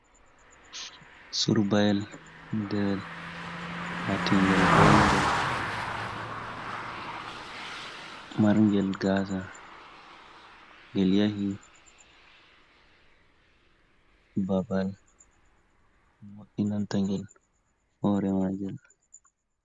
Surbayil deen lati ngel bongel, mar ngel gasa, ngel yahi babal mo'inanta ngel hore magel.